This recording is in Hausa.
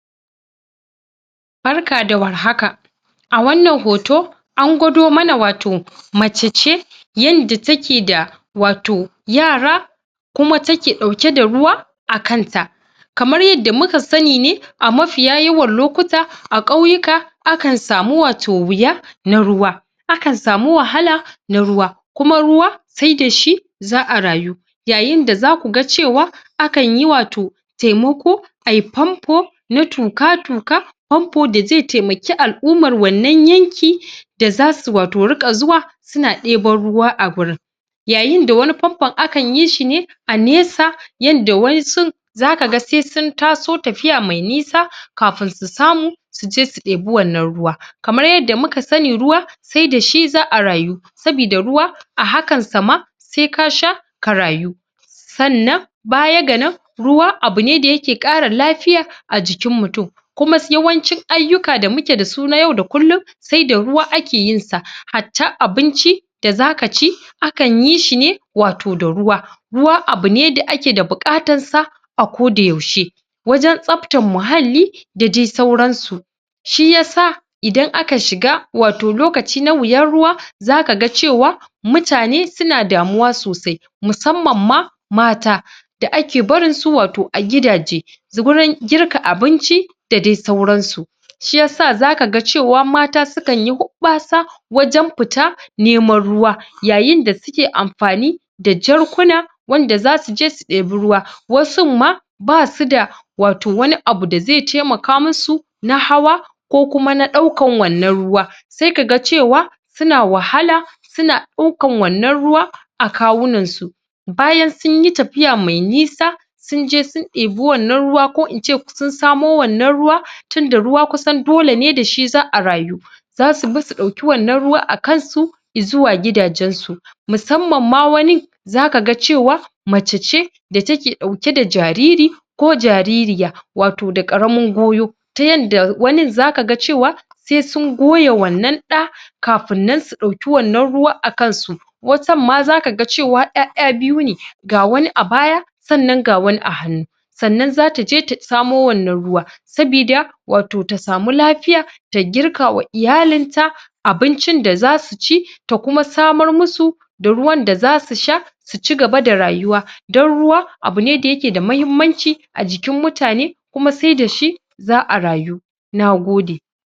Barka da war haka a wannan hoto angwado mana wato mace ce yadda takeda wato yara kuma dake ɗauke da ruwa akanta kamar yadda muka sani ne amafiya yawan lokuta a ƙauyuka akan samu wato wuya na ruwa akan samu wahala na ruwa kuma ruwa sai dashi za'a rayu yayin da zakuga cewa akan yi wato taimako ayi pompo na tuƙa-tuƙa pompo da zai taimaki al-umman wannan yanki da zasu wato riƙa zuwa suna ɗeban ruwa awurin yayin da wani pompon akan yishi ne a nesa yadda waƴansu zaka sai suntaso tafiya mai nisa kafin su samu suje su ɗebi wannan ruwa kamar yadda muka sani ruwa sai dashi za'a rayu sabida ruwa a hakan sa ma sai kasha ka rayu sannan baya ga nan ruwa abune dayake ƙara lafiya ajikin mutum kuma yawancin aiyuka damuke dasu na yau da kullum sai da ruwa ake yinsa hatta abincin da zaka ci akan yishine wato ruwa ruwa abune da akeda buƙatansa a koda yaushe wajen tsaftan muhalli da dai sauransu shiyasa idan aka shiga wato lokaci na wuyan ruwa zaka ga cewa mutane suna damuwa sosai musamman ma mata da ake barinsu wato a gidaje gurin girka abinci da dai sauran su shiyasa zaka ga cewa mata su kanyi huɓɓasa wajen fita neman ruwa yayin da suke amfani da jarkuna wanda zasuje su ɗiba ruwa wasun ma basu da wato wani abu da zai taimaka masu na hawa ko kuma na ɗaukan wannan ruwa sai ka ga cewa suna wahala suna ɗaukan wannan ruwa akawunan su bayan sunyi tafiya mai nisa sunje sun ɗebi wannan ruwa ko ince sun samo wannan ruwa tunda ruwa kusan dolene dashi za'a rayu zasu bi suɗauki wannan ruwa akansu izuwa gidajen su musamma ma wani zaka ga cewa mace ce da take ɗauke da jariri ko jaririya wato da ƙaramin goyo tayanda wanin zaga cewa sai sun goya wannan ɗa kafin nan su ɗauki wannan ruwa akansu watan ma zaka ga cewa ƴaƴa biyu ne ga wani abaya sannan ga wani a hannu sannan zataje tasamo wannan ruwa sabida wato ta samu lafiya da girka wa iyalin ta abincin da zasu ci ta kuma samar masu da ruwan da zasu sha sucigaba da rayuwa don ruwa abune dayake da muhimmanci ajikin mutane kuma sai dashi za'a rayu nagode